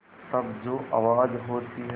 तब जो आवाज़ होती है